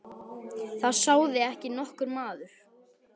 Það sá þig ekki nokkur maður!